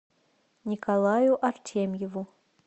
николаю артемьеву